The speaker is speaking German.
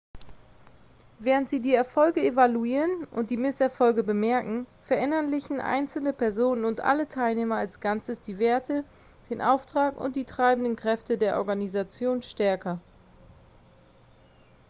während sie die erfolge evaluieren und die misserfolge bemerken verinnerlichen einzelne personen und alle teilnehmer als ganzes die werte den auftrag und die treibenden kräfte der organisation stärker